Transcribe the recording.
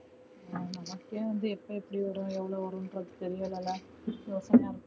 நமக்கே வந்து எப்ப எப்படி வரும் எவ்ளோ வருமன்றத்து தெரிலல